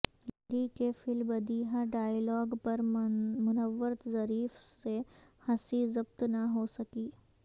لہری کے فی البدیہہ ڈائیلاگ پر منورظریف سے ہنسی ضبط نہ ہو سکی